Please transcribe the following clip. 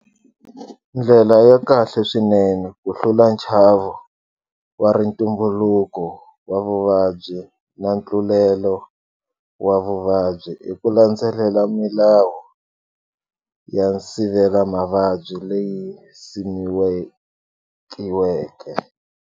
Ndlela ya kahle swinene ku hlula nchavo wa rintumbuluko wa vuvabyi na ntlulelo wa vuvabyi i ku landzelela milawu ya nsivelamavabyi leyi yi simekiweke.